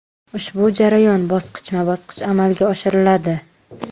Ushbu jarayon bosqichma-bosqich amalga oshiriladi.